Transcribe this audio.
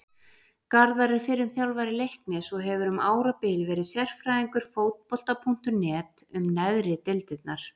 Garðar er fyrrum þjálfari Leiknis og hefur um árabil verið sérfræðingur Fótbolta.net um neðri deildirnar.